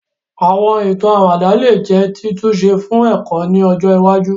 Àwọn ìtàn àwàdà lè jẹ́ títúnṣe fún ẹ̀kọ́ ni ọjọ iwájú